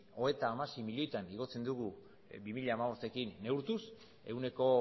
hogeita hamasei milioitan igotzen dugu bi mila hamabostekin neurtuz ehuneko